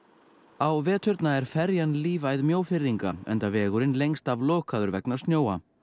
á veturna er ferjan lífæð enda vegurinn lengst af lokaður vegna snjóa